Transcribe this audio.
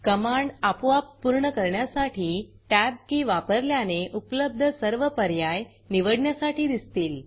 command आपोआप पूर्ण करण्यासाठी टॅब की वापरल्याने उपलब्ध सर्व पर्याय निवडण्यासाठी दिसतील